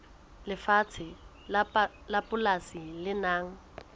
lefatshe la polasi le nang